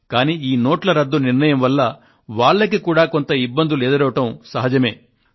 కానీ ఈ నోట్ల రద్దు నిర్ణయం వల్ల వారికి కూడా కొంత ఇబ్బందులు ఎదురవడం సహజమే